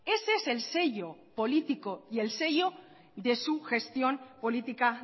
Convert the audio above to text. ese es el sello político y el sello de su gestión política